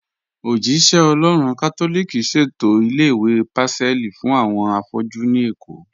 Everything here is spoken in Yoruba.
Ojihìn-ìṣẹ-Ọlọ́run Katolíkì ṣẹ̀tọ ilẹ̀-ìwé Pacelli fún awọn afọ̀jú ní Ékó